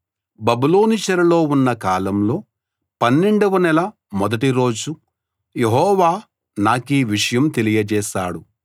బబులోను చెరలో ఉన్న కాలంలో పన్నెండవ నెల మొదటి రోజు యెహోవా నాకీ విషయం తెలియచేశాడు